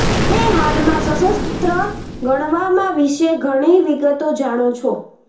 અમે હાલમાં સશસ્ત્ર ગણવામાં વિશે ઘણી વિગતો જાણો છો